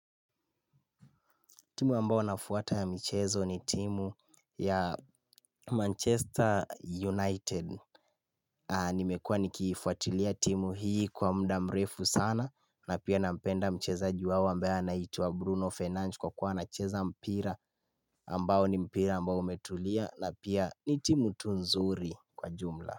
Timu ambao nafutwa ya michezo ni timu ya Manchester United Nimekua nikiifuatilia timu hii kwa muda mrefu sana na pia nampenda michezaji wao ambaye anaitwa Bruno Fennage kwa kuwa anacheza mpira ambao ni mpira ambao umetulia na pia ni timu tu nzuri kwa jumla.